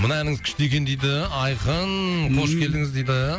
мына әніңіз күшті екен дейді айқын қош келдіңіз дейді